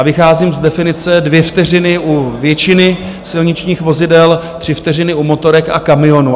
A vycházím z definice dvě vteřiny u většiny silničních vozidel, tři vteřiny u motorek a kamionů.